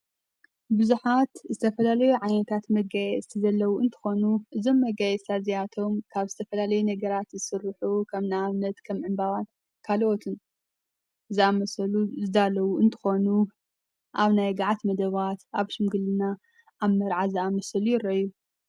ብዙኃት ዝተፈላለዩ ዓኔካት መጋየ ዝተዘለዉ እንትኾኑ እዞም መጋይ እዝተዚያቶም ካብ ዝተፈላለይ ነገራት ዝሥርሑ ከም ናኣብነት ከም ዕምባዋን ካልወትን እዝኣ መሰሉ ዝዳለዉ እንትኾኑ ኣብ ናይ ግዓት መደዋት ኣብ ሹምግልና ኣብ መርዓ ዝኣ መሰል ይረኣዩ።